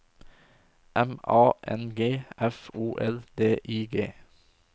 M A N G F O L D I G